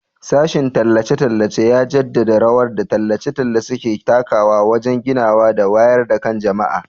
Sashen tallace-tallace ya jaddada rawar da tallace-tallace ke takawa wajen ginawa da wayar da kan jama'a.